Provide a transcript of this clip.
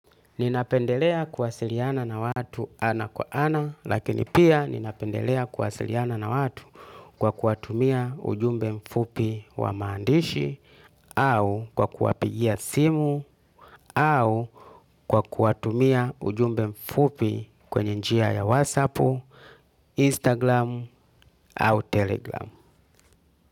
Ninapendelea kuwasiliana na watu ana kwa ana lakini pia ninapendelea kuwasiliana na watu kwa kuwatumia ujumbe mfupi wa maandishi au kwa kuwapigia simu au kwa kuwatumia ujumbe mfupi kwenye njia ya whatsapp Instagram au telegram.